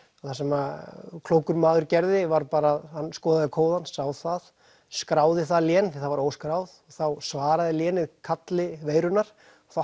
það sem að klókur maður gerði var bara að hann skoðaði kóðann sá það skráði það lén því það var óskráð þá svaraði lénið kalli veirunnar þá